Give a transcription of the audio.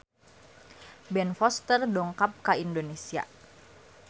Ben Foster dongkap ka Indonesia